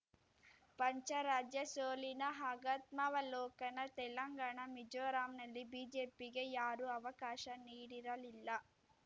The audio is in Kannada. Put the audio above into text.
ಪಂಚರಾಜ್ಯ ಸೋಲಿನ ಆಗತ್ಮಾವಲೋಕನ ತೆಲಂಗಾಣ ಮಿಜೋರಂನಲ್ಲಿ ಬಿಜೆಪಿಗೆ ಯಾರೂ ಅವಕಾಶ ನೀಡಿರಲಿಲ್ಲ